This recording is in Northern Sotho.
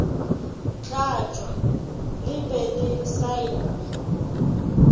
tlatšwa le be le saenwe